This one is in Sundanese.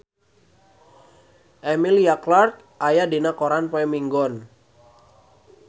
Emilia Clarke aya dina koran poe Minggon